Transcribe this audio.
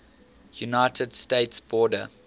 united states border